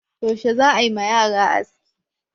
Yaushe za a yi wa yara aski?